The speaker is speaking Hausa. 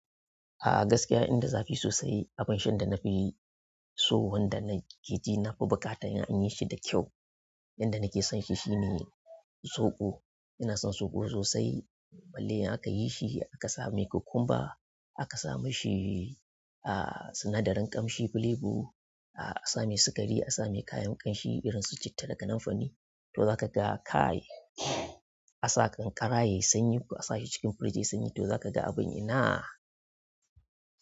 A gaskiya inda zafi sosai abin shan da na fi so wanda na keji na fi buƙata in yi shi da kyau, yanda na ke son shi shine zoɓo. Ina son soko sosai. Balle in akayi shi aka sai cucumber aka sami shi, a, sinadarin ƙamshi flavor, a, a samai sukari a samai kayan ƙamshi irin su citta da kanun fari to za ka ga kai. Asa ƙanƙara yayi sanyi ko asa shi cikin freeze yayi sanyi to zakaga abun ina.